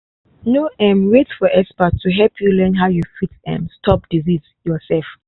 no um wait for expert to help you learn how you fit um stop disease yourself